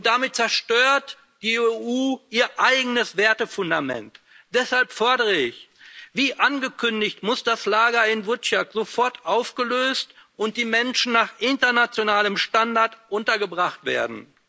Damit zerstört die EU ihr eigenes Wertefundament. Deshalb fordere ich Wie angekündigt muss das Lager in Vučjak sofort aufgelöst werden, und die Menschen müssen nach internationalem Standard untergebracht werden.